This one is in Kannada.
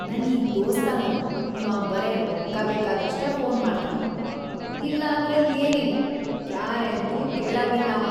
ನನ್‌ ಈ ದೋಸ್ತ ನೋಡ್‌ ಇವಾ ಬರೇ ರೊಕ್ಕ ಬೇಕಾದ್ರಷ್ಟೇ ಫೋನ್‌ ಮಾಡ್ತಾನ, ಇಲ್ಲಂದ್ರ ಏನಿಲ್ಲಾ.. ಕ್ಯಾರೇ ಅಂತ್ಲೂ ಕೇಳಂಗಿಲ್ಲಾಂವಾ.